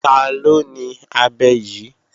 Taló ni abẹ yí?